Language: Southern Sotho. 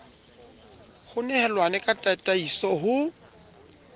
ho nehelawe ka tataiso ho